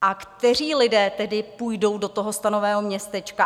A kteří lidé tedy půjdou do toho stanového městečka?